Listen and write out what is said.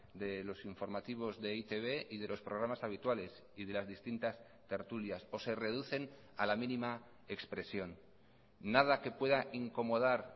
de los informativos de e i te be y de los programas habituales y de las distintas tertulias o se reducen a la mínima expresión nada que pueda incomodar